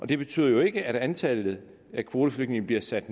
det betyder jo ikke at antallet af kvoteflygtninge bliver sat